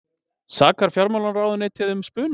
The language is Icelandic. Sakar fjármálaráðuneytið um spuna